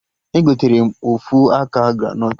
Egotere m ofu aka granọt